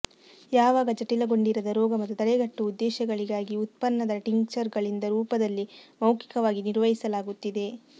ಯಾವಾಗ ಜಟಿಲಗೊಂಡಿರದ ರೋಗ ಮತ್ತು ತಡೆಗಟ್ಟುವ ಉದ್ದೇಶಗಳಿಗಾಗಿ ಉತ್ಪನ್ನದ ಟಿಂಕ್ಚರ್ಗಳಿಂದ ರೂಪದಲ್ಲಿ ಮೌಖಿಕವಾಗಿ ನಿರ್ವಹಿಸಲಾಗುತ್ತಿದೆ